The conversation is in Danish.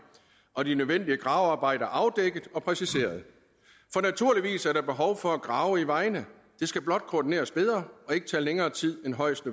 og de nødvendige gravearbejder afdækket og præciseret for naturligvis er der behov for at grave i vejene det skal blot koordineres bedre og ikke tage længere tid end højst